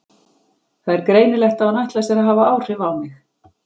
Það er greinilegt að hún ætlar sér að hafa áhrif á mig.